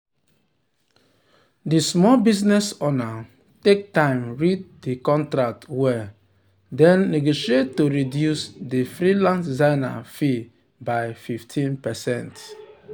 the small business owner take time read the contract well then negotiate to reduce the freelance designer fee by 15%.